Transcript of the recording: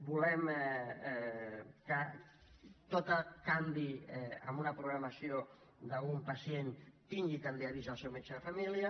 volem que tot canvi en una programació d’un pacient tingui també avís al seu metge de família